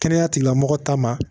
Kɛnɛya tigilamɔgɔ ta ma